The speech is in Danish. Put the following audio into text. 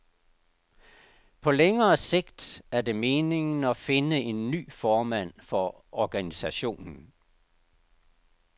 På længere sigt er det meningen at finde en ny formand for organisationen.